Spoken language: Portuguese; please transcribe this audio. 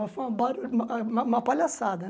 Mas foi uma ba um uma uma palhaçada